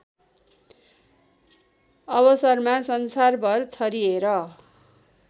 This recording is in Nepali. अवसरमा संसारभर छरिएर